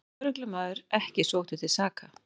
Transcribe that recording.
Lögreglumaður ekki sóttur til saka